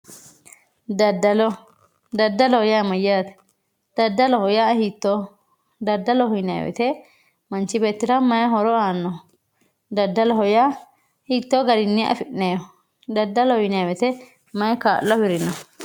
Dadallo, dadalloho yaa mayate, dadalloho yaa hiitoho, dadalloho yinayi woyite manchi beettirra mayi horo aanno, dadalloho yaa hiito garinni afinayeho, dadalloho yinayi woyite mayi kaalo afirino